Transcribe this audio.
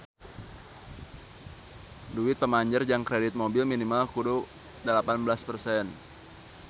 Duit pamanjer jang kredit mobil minimal kudu dalapan belas persen